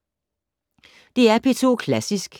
DR P2 Klassisk